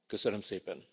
Köszönöm szépen.